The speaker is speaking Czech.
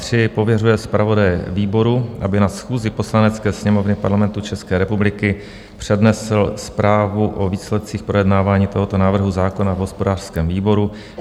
III. pověřuje zpravodaje výboru, aby na schůzi Poslanecké sněmovny Parlamentu České republiky přednesl zprávu o výsledcích projednávání tohoto návrhu zákona v hospodářském výboru;